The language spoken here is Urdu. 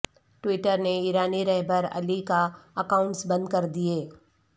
ٹویٹر نے ایرانی رہبر اعلی کے اکاونٹس بند کر دیئے